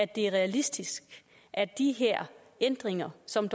det er realistisk at de her ændringer som